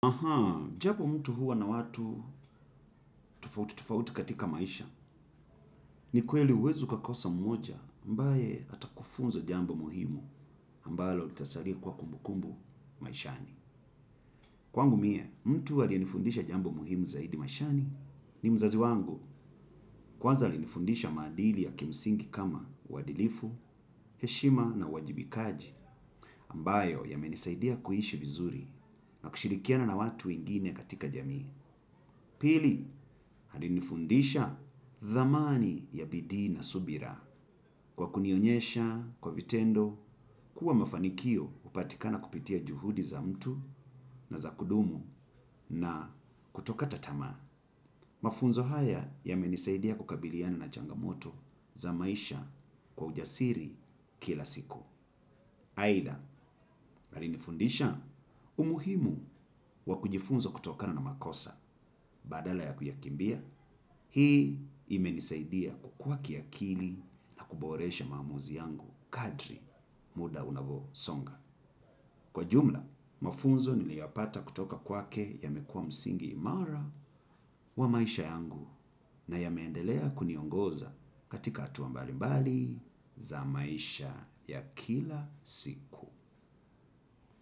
Ahaa, japo mtu huwa na watu tofauti tofauti katika maisha ni kweli huwezi ukakosa mmoja ambae atakufunza jambo muhimu ambalo litasalia kuwa kumbukumbu maishani. Kwangu mie, mtu aliyenifundisha jambo muhimu zaidi maishani ni mzazi wangu kwanza alinifundisha maadili ya kimsingi kama uadilifu, heshima na uwajibikaji ambayo yamenisaidia kuishi vizuri na kushirikiana na watu wengine katika jamii. Pili, alinifundisha thamani ya bidii na subira. Kwa kunionyesha, kwa vitendo, kuwa mafanikio hupatikana kupitia juhudi za mtu na za kudumu na kutokata tamaa. Mafunzo haya yamenisaidia kukabiliana na changamoto za maisha kwa ujasiri kila siku. Aidha, alinifundisha umuhimu wa kujifunza kutokana na makosa badala ya kuyakimbia, hii imenisaidia kukua kiakili na kuboresha maamuzi yangu kadri muda unavosonga. Kwa jumla, mafunzo niliyapata kutoka kwake yamekuwa msingi imara wa maisha yangu na yameendelea kuniongoza katika hatua mbalimbali za maisha ya kila siku.